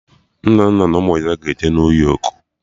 Nnenna na ụmụ ya ga-eje New Yọk